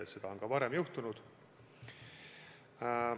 Seda on ka varem juhtunud.